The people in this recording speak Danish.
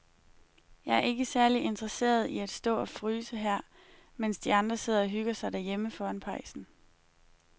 Jeg er ikke særlig interesseret i at stå og fryse her, mens de andre sidder og hygger sig derhjemme foran pejsen.